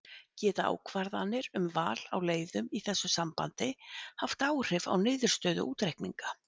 Geta ákvarðanir um val á leiðum í þessu sambandi haft áhrif á niðurstöðu útreikninga?